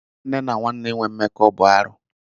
Nwanne na nwanne ịnwe mmekọ bụ arụ.